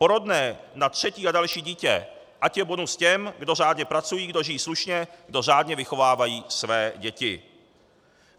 Porodné na třetí a další dítě ať je bonus těm, kdo řádně pracují, kdo žijí slušně, kdo řádně vychovávají své děti.